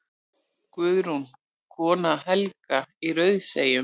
Guðrún, kona Helga í Rauðseyjum.